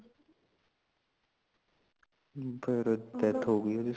ਫੇਰ death ਹੋਗੀ ਓਹਦੀ